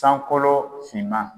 Sankolo finman.